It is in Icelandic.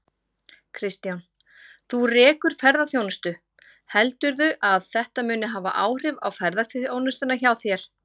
Kristján: Þú rekur ferðaþjónustu, heldurðu að þetta muni hafa áhrif á ferðaþjónustuna hjá þér?